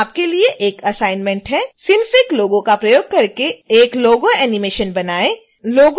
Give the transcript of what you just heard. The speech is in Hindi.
यहां आपके लिए एक असाइनमेंट है synfig logo का प्रयोग करके एक लोगो एनीमेशन बनाएं